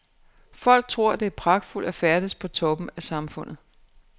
Folk tror at det er pragtfuldt at færdes på toppen af samfundet.